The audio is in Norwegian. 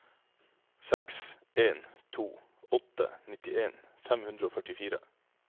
seks en to åtte nittien fem hundre og førtifire